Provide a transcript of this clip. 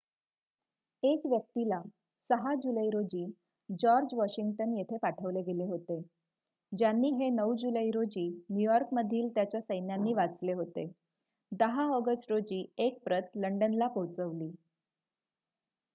1 व्यक्तीला 6 जुलै रोजी जॉर्ज वॉशिंग्टन येथे पाठवले गेले होते ज्यांनी हे 9 जुलै रोजी न्यूयॉर्कमधील त्याच्या सैन्यांनी वाचले होते 10 ऑगस्ट रोजी एक प्रत लंडनला पोहोचवली